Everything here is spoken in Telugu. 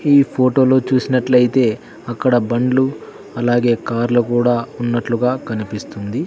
ఈ ఫోటో లో చూసినట్లయితే అక్కడ బండ్లు అలాగే కార్లు కూడా ఉన్నట్లుగా కనిపిస్తుంది.